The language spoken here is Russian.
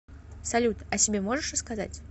салют о себе можешь рассказать